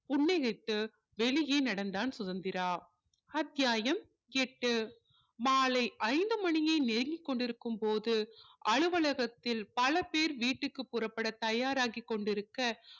புன்னகைத்து வெளியே நடந்தான் சுதந்திரா அத்தியாயம் எட்டு மாலை ஐந்து மணியை நெருங்கி கொண்டிருக்கும் போது அலுவலகத்தில் பல பேர் வீட்டுக்கு புறப்பட தயாராகி கொண்டிருக்க